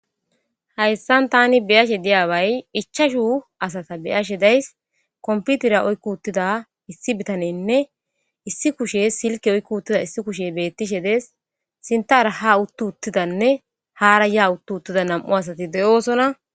hayssan tani biyashe diyaaway ichashu asata beyashe days komputira oykku uttida issi bitanenne issi kushe silke oykku uttida issi kushe bettishe dees sintaara ha uttu uttidanne haara yaa uttu uttida nam7u asati de7oosona